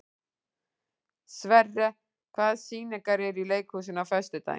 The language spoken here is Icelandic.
Sverre, hvaða sýningar eru í leikhúsinu á föstudaginn?